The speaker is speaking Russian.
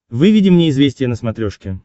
выведи мне известия на смотрешке